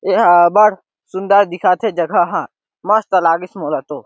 एहा बड़ सुन्दर दिखत हे जगह ह मस्त लगिस मोला तो--